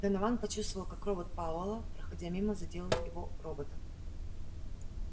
донован почувствовал как робот пауэлла проходя мимо задел его робота